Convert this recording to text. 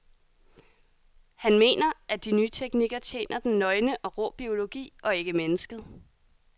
Han mener, at de nye teknikker tjener den nøgne og rå biologi og ikke mennesket.